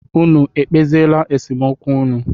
Unu ekpeziela nsemokwu unu?